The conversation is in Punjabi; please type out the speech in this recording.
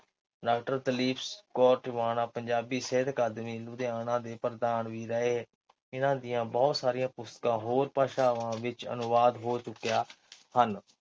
ਡਾ. ਦਲੀਪ ਕੌਰ ਟਿਵਾਣਾ ਪੰਜਾਬੀ ਸਾਹਿਤ ਅਕਾਦਮੀ ਲੁਧਿਆਣਾ ਦੇ ਪ੍ਰਧਾਨ ਵੀ ਰਹੇ। ਇਨ੍ਹਾਂ ਦੀਆਂ ਬਹੁਤ ਸਾਰੀਆਂ ਪੁਸਤਕਾਂ ਹੋਰ ਭਾਸ਼ਾਵਾਂ ਵਿੱਚ ਅਨੁਵਾਦ ਹੋ ਚੁੱਕੀਆਂ ਹਨ।